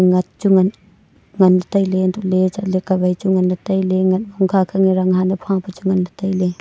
ngat chu nganley tailey untohley chatley kawai chu nganley tailey ngat hokha khange ranghan e phapa chu nganley tailey.